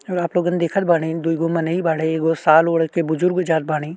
आप लोगन देखत बाड़े। दू गो मनेही बाड़े। एगो साल ओढ़ के बुजुर्ग जात बाड़ीन।